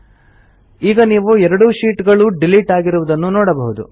ಈಗ ನೀವು ಎರಡೂ ಶೀಟ್ ಗಳು ಡಿಲಿಟ್ ಆಗಿರುವುದನ್ನು ನೋಡಬಹುದು